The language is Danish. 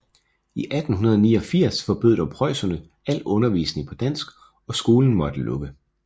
I 1889 forbød dog preusserne al undervisning på dansk og skolen måtte lukke